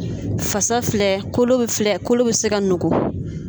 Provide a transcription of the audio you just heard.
Fasa filɛ kolo bɛ filɛ kolo bɛ se ka nugu.